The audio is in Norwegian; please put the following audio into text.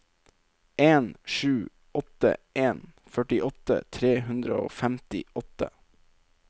en sju åtte en førtiåtte tre hundre og femtiåtte